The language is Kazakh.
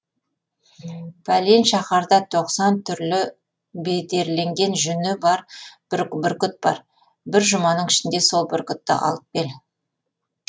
пәлен шаһарда тоқсан түрлі бедерленген жүні бар бір бүркіт бар бір жұманың ішінде сол бүркітті алып кел